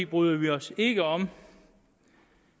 bryder vi os ikke om